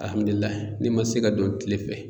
n'i ma se ka don kile fɛ.